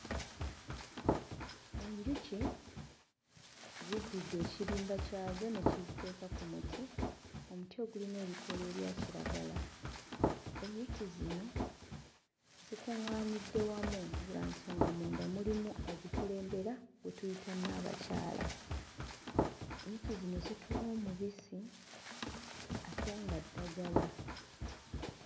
Enjuki ziddidde ekirimba kyazo ne kiziteeka ku muti omuti ogulina ebikoola ebya kiragala enjuki zino zikuᵑᵑaanidde wamu lwa nsonga munda mulimu azikulembera gwe tuyita nnaabakyala. Enjuki zino zituwa omubisi ate nga ddagala.